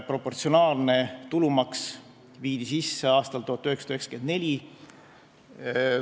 Proportsionaalne tulumaks viidi sisse aastal 1994.